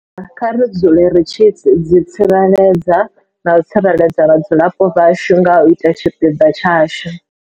Kha ri dzule ri tshi ḓitsireledza na u tsireledza vhadzulapo vhashu nga u ita tshipiḓa tshashu.